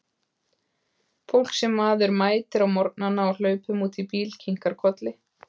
Fólk sem maður mætir á morgnana á hlaupum út í bíl, kinkar kolli.